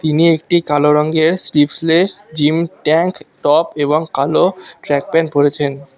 তিনি একটি কালো রঙ্গের স্লিফলেস জিম ট্যাংক টপ এবং কালো ট্রাক পেন্ট পড়েছেন তা--